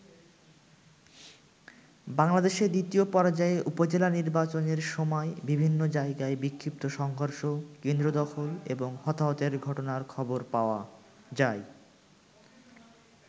বাংলাদেশে দ্বিতীয় পর্যায়ে উপজেলা নির্বাচনের সময় বিভিন্ন জায়গায় বিক্ষিপ্ত সংঘর্ষ, কেন্দ্র দখল এবং হতাহতের ঘটনার খবর পাওয়া যায়।